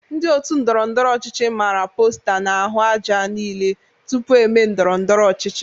Ndị otu ndọrọndọrọ ọchịchị mara posta ha n'ahụ aja niile tupu eme ndọrọndọrọ ọchịchị.